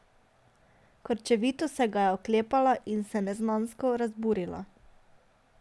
Krčevito se ga je oklepala in se neznansko razburila.